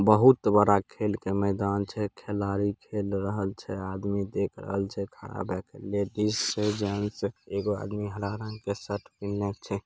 बहुत बड़ा खेल का मैदान छै। खेलाड़ी खेल रहल छै। आदमी देख रहल छै। लेडिस छै जेन्स एगो आदमी हरा रंग के शर्ट पीन्हले छै।